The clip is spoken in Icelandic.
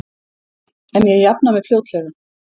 En ég jafna mig fljótlega.